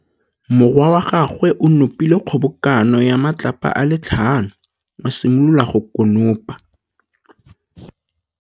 Morwa wa gagwe o nopile kgobokanô ya matlapa a le tlhano, a simolola go konopa.